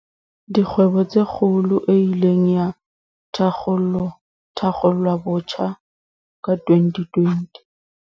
Dikgwebo tse Kgolo, e ileng ya thakgolwabotjha ka 2020.